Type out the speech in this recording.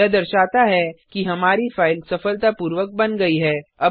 यह दर्शाता है कि हमारी फाइल सफलतापूर्वक बन गई है